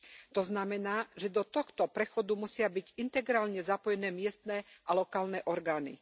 To znamená, že do tohto prechodu musia byť integrálne zapojené miestne a lokálne orgány.